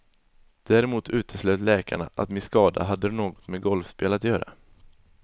Däremot uteslöt läkarna att min skada hade något med golfspel att göra.